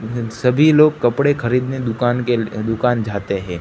इन सभी लोग कपड़े खरीदने दुकान के ले दुकान जाते है।